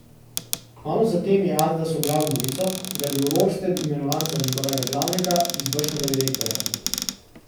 Kmalu zatem je Adidas objavil novico, da je bil Rorsted imenovan za njegovega glavnega izvršnega direktorja.